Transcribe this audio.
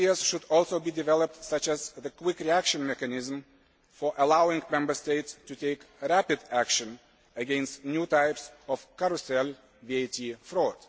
New ideas should also be developed, such as quick reaction mechanisms for allowing Member States to take rapid action against new types of carousel VAT fraud.